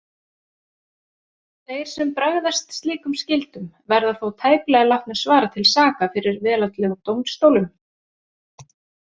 Þeir sem bregðast slíkum skyldum verða þó tæplega látnir svara til saka fyrir veraldlegum dómstólum.